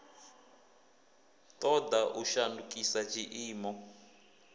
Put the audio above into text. ṱo ḓa u shandukisa tshiimo